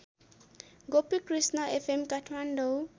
Gopikrishna FM Kathmandu